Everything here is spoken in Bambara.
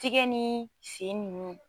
Tigɛ nii sen nunnu